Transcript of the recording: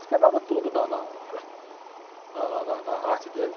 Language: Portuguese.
Ele quebrava tudo na, na, na, na, na arte dele.